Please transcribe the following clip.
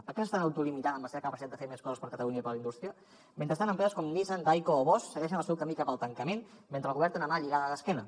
per què s’estan autolimitant en la seva capacitat de fer més coses per a catalunya i per a la indústria mentrestant empreses com nissan tyco o bosch segueixen el seu camí cap al tancament mentre el govern té una mà lligada a l’esquena